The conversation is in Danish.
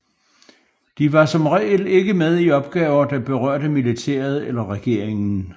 De var som regel ikke med i opgaver der berørte militæret eller regeringen